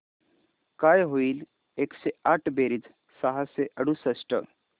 काय होईल एकशे आठ बेरीज सहाशे अडुसष्ट